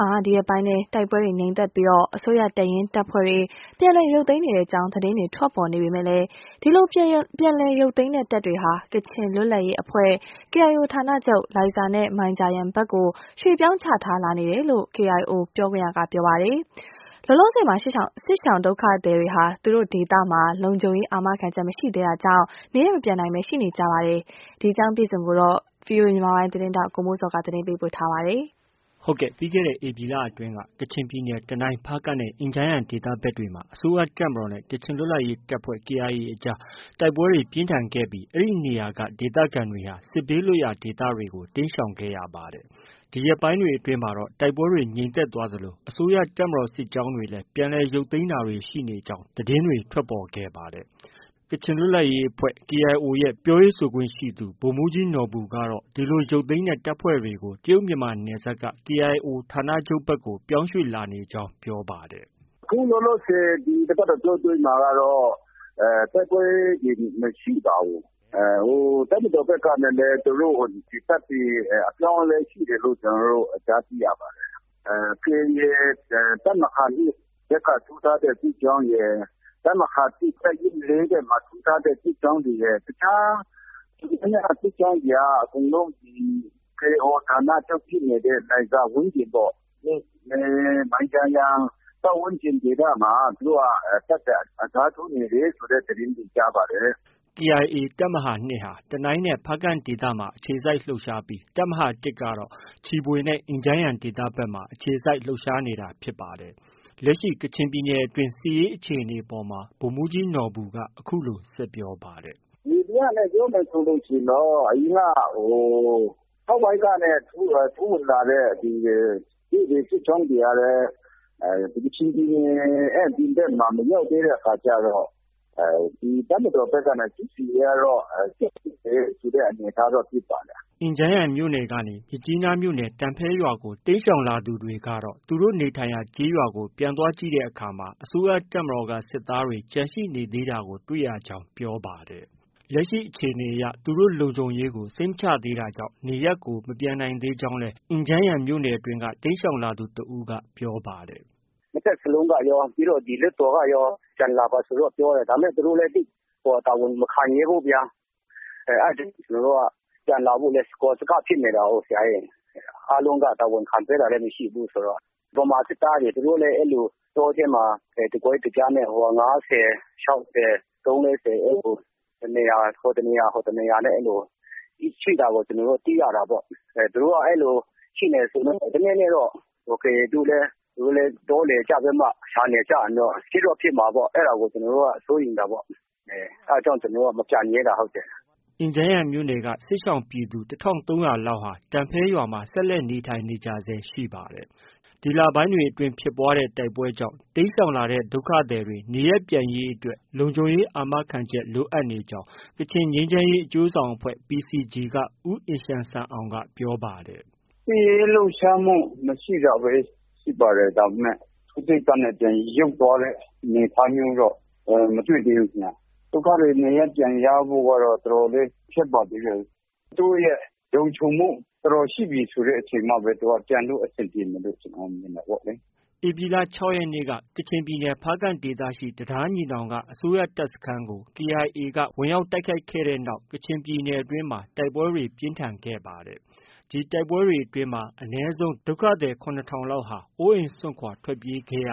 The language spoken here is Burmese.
ှာ ဒီရက်ပိုင်းတွေအတွင်း တိုက်ပွဲတွေငြိမ်သက်ပြီး အစိုးရတပ်ရင်းတပ်ဖွဲ့တွေ ပြန်လည် ရုတ်သိမ်းနေကြောင်း သတင်းတွေ ထွက်ပေါ်နေပေမဲ့ ဒီပြန်လည်ရုတ်သိမ်းတဲ့တပ်တွေဟာ ကချင်လွတ်လပ်ရေး အဖွဲ့ KIOဌာနချုပ်လိုင်ဇာနဲ့ မိုင်ဂျာယန်ဘက်ကို ရွှေ့ပြောင်းချထားလာနေတယ်လို့ KIO ပြောခွင့်ရသူက ပြောပါ တယ်။ လောလောဆည်မှာ စစ်ရှောင်ဒုက္ခသည်တွေဟာ သူ့တို့ဒေသမှာ လုံခြုံရေး အာမခံချက်မရှိသေးတာ ကြောင့် နေရပ်မပြန်နိုင်ဘဲ ရှိနေပါတယ်။ ဒီသတင်းကို ဗွီအိုအေမြန်မာပိုင်းရဲ့သတင်းထောက် ကိုမိုးဇော်က တင်ပြထားပါတယ်။ ပြီးခဲ့တဲ့ ဧပြီလအတွင်းက ကချင်ပြည်နယ် တနိုင်း၊ ဖားကန့်နဲ့ အင်ဂျန်းယန်ဒေသဖက်တွေမှာ အစိုးရတပ်မတော်နဲ့ ကချင်လွတ်လပ်ရေးတပ်ဖွဲ့ KIA အကြား တိုက်ပွဲတွေ ပြင်းထန်ခဲ့ပြီး အဲဒီနေရာတွေက ဒေသခံတွေဟာ စစ်ဘေးလွတ်ရာဒေသတွေကို တိမ်းရှောင်ခဲ့ရပါတယ်။ ဒီရက်ပိုင်းတွေအတွင်းမှာတော့ တိုက်ပွဲတွေ ငြိမ်သက်သွားသလို အစိုးရတပ်မတော်စစ်ကြောင်းတွေလည်း ပြန်လည်ရုတ်သိမ်းတာတွေ ရှိနေကြောင်း သတင်းတွေ ထွက်ပေါ်ခဲ့ပါတယ်။ ကချင်လွတ်လပ်ရေးအဖွဲ့ KIO အဖွဲ့ရဲ့ ပြောရေးဆိုခွင့်ရှိသူ ဗိုလ်မှုးကြီးနော်ဘူက ဒီလိုရုတ်သိမ်းတဲ့တပ်ဖွဲ့တွေကို တရုတ်မြန်မာနယ်စပ်က KIO ဌာနချုပ်ဖက်ကို ရွှေ့ပြောင်းလာနေကြောင်း ပြောပါတယ်။ “ အခုလောလောဆည် ဒီတပတ်အတောအတွင်းမှာကတော့ တိုက်ပွဲတွေ မရှိပါဘူး။ တပ်မတော်ဘက်ကလည်း သူတို့ တပ်တွေ အပြောင်းအလဲရှိတယ်လို့ ကြားသိရပါတယ်။ KIA တပ်မဟာ ၂ဖက်က ထိုးထားတဲ့ စစ်ကြောင်း ရယ်။ တပ်မဟာ ၁ တပ်ရင်း ၄ဘက်မှာ ထိုးထားတဲ့စစ်ကြောင်းတွေရယ် ။ တခြား တော်တော်များများ စစ်ကြောင်းတွေက အကုန်လုံးဒီ KIO ဌာနချုပ်ဖြစ်နေတဲ့ လိုင်ဇာဝန်းကျင်ပေ့ါ။ မိုင်ဂျာယန်ပတ်ဝန်းကျင်ဒေသမှာ သူတို့က တပ်တွေအစားထိုးနေတယ်ဆိုတဲ့ သတင်းတွေကြားပါတယ်။” KIA တပ်မဟာ ၂ဟာ တနိုင်းနဲ့ ဖားကန့်ဒေသဖက်မှာ အခြေစိုက်လှုပ်ရှားပြီး တပ်မဟာ၁ကတော့ ချီဗွေနဲ့ အင်ဂျန်းယန်ဒေသဖက်တွေမှာ အခြေစိုက်လှုပ်ရှားနေတာဖြစ်ပါတယ်။ လက်ရှိ ကချင်ပြည်နယ်အတွင်း စစ်ရေးအခြေအနေအပေါ်မှာ ဗိုလ်မှုးကြီးနော်ဘူက အခုလို ဆက်ပြောပါတယ်။ “ မြေပြင်အခြေအနေအရပြောမယ်ဆို အရင်က အောက်ပိုင်းကနေ ထိုးဝင်လာတဲ့စစ်ကြောင်းတွေကလည်း ကချင်ပြည်နယ်ရဲ့ အပြင်ဘက်မှာ မရောက်သေးတဲ့အခါကျတော့ တပ်မတော်ဘက်ကနေ စစ်ဆင်ရေးကတော့ ဆက်ရှိနေသေးတယ်ဆိုတဲ့အနေအထားတော့ တွေ့ပါတယ်။” အင်ဂျန်းယန်မြို့နယ်ကနေ မြစ်ကြီးနားမြို့နယ် တန်ဖဲရွာကို တိမ်းရှောင်လာသူတွေကတော့ သူတို့နေထိုင်ရာ ကျေးရွာကို ပြန်သွားကြည့်တဲ့အခါ အစိုးရတပ်မတော်က စစ်သားတွေ ကျန်ရှိနေသေးတာကို တွေ့ရကြောင်း ပြောပါတယ်။ လက်ရှိအခြေအနေအရ သူတို့လုံခြုံရေးကို စိတ်မချရသေးတာကြောင့် နေရပ်ကို မပြန်နိုင်သေးကြောင်း အင်ဂျန်းယန်က တိမ်းရှောင်လာသူတဦးက ပြောပါတယ်။ “နှစ်ဘက်စလုံးကရော၊ ပြီးတော့ လွှတ်တော်ကရော ပြန်လာပါဆိုပြီးပြောတယ်။ ဒါပေမဲ့ သူတို့လည်း သိပ်ပြီးတော့ တာဝန်မခံရဲဘူးဗျာ။ အဲဒါကြောင့် ကျနော်တို့က ပြန်လာဖို့လည်း စကောစကဖြစ်နေတာကိုး။ အားလုံးက တာဝန်ခံပေးတာလည်း မရှိဘူးဆိုတော့။ ဗမာစစ်သားတွေ သူတို့လည်း အဲလို တကွဲတပြားနဲ့ ဟိုမှာ ၅၀၊၆၀။ ၃-၄၀ အဲလို ဟိုတနေရာ၊ ဟိုတနေရာနဲ့ အဲလို ရှိနေတာကို ကျနော်တို့ သိရတာပေါ့။ သူတို့က အဲလို ရှိနေတော့ တနေ့နေ့တော့ KIA ကလည်း တောလည်ပြီးမှ ရှာနေကြရင်တော့ ဖြစ်တော့ ဖြစ်မှာပေါ့။ အဲဒါကို ကျနော်တို့က စိုးရိမ်တာပေါ့။ အဲဒါကြောင့် ကျနော်တို့က မပြန်ရဲတာ။ ” အင်ဂျန်းယန်မြို့နယ်က စစ်ရှောင်ပြည်သူ ၁၃၀၀လောက်ဟာ တန်ဖဲရွာမှာ ဆက်လက်နေထိုင်နေကြဆဲ ရှိနေပါတယ်။ ဒီလပိုင်းတွေအတွင်းဖြစ်ပွားတဲ့ တိုက်ပွဲကြောင့် တိမ်းရှောင်လာတဲ့ ဒုက္ခသည်တွေ နေရပ်ပြန်ရေးအတွက် လုံခြုံရေးအာမခံချက် လိုအပ်နေကြောင်း ကချင်ငြိမ်းချမ်းရေးအကျိုးဆောင်အဖွဲ့ PCG က ဦးအင်ရှန်ဆန်အောင် က ပြောပါတယ်။ “ စစ်ရေးလှုပ်ရှားမှု မရှိတာဘဲ ရှိပါတယ်။ ဒါပေမဲ့ ထိုးစစ်ကနေ ပြန်ရုတ်သွားတဲ့ အနေအထားမျိုးတော့ မတွေ့သေးဘူး။ ဒုက္ခသည်တွေ နေရပ်ပြန်ရဖို့ကတော့ တော်တော်လေး ခက်ပါသေးတယ်။ သူတို့ရဲ့ လုံခြုံမှု တော်တော်ရှိပြီဆိုမှပဲ သူတို့က ပြန်လို့ အဆင်ပြေမယ်လို့ ကျနေ်ာက မြင်တာပေါ့လေ။” ကချင်ပြည်နယ် ဖားကန့်ဒေသ ဧပြီလ ၆ရက်နေ့က တံတားညီနောင်က အစိုးရတပ်စခန်းကို KIAက တိုက်ခိုက်ခဲ့တဲ့နောက် ကချင်ပြည်နယ်အတွင်းမှာ တိုက်ပွဲတွေပြင်းထန်ခဲ့ပါတယ်။ ဒီတိုက်ပွဲတွေအတွင်းမှာ အနည်းဆုံး ဒုက္ခသည် ၇ထောင်လောက်ဟာ အိုးအိမ်စွန့်ခွာထွက်ပြေးခဲ့ရ